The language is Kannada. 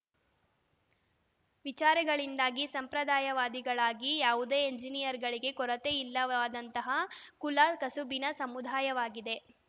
ವಿಚಾರಗಳಿಂದಾಗಿ ಸಂಪ್ರದಾಯವಾದಿಗಳಾಗಿ ಯಾವುದೇ ಎಂಜಿನಿಯರ್‌ಗಳಿಗೆ ಕೊರತೆಯಿಲ್ಲವಾದಂತಹ ಕುಲ ಕಸುಬಿನ ಸಮುದಾಯವಾಗಿದೆ